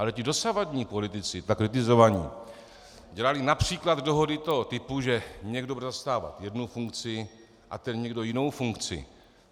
Ale ti dosavadní politici, tak kritizovaní, dělali například dohody toho typu, že někdo bude zastávat jednu funkci a ten někdo jinou funkci.